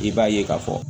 I b'a ye k'a fɔ